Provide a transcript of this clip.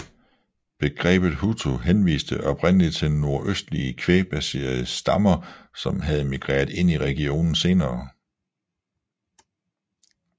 Begrebet hutu henviste oprindelig til nordøstlige kvægbaserede stammer som havde migreret ind i regionen senere